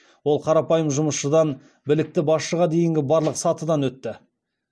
ол қарапайым жұмысшыдан білікті басшыға дейінгі барлық сатыдан өтті